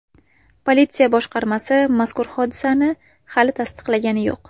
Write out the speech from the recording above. Politsiya boshqarmasi mazkur hodisani hali tasdiqlagani yo‘q.